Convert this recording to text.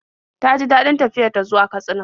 Ta ji daɗin tafiyar ta zuwa Katsina.